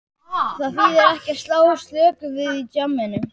Það þýðir ekki að slá slöku við í djamminu.